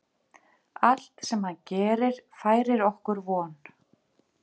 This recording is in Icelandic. Allt sem hann gerir færir okkur von.